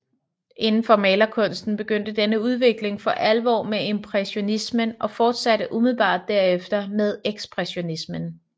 Inden for malerkunsten begyndte denne udvikling for alvor med impressionismen og fortsatte umiddelbart derefter med ekspressionismen